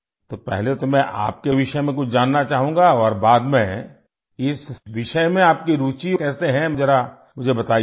तो पहले तो मैं आपके विषय में कुछ जानना चाहूँगा और बाद में इस विषय में आपकी रूचि कैसे हैं जरा मुझे बताइये